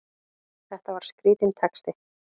Þetta var skrítinn texti!